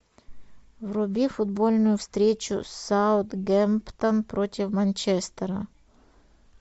вруби футбольную встречу саутгемптон против манчестера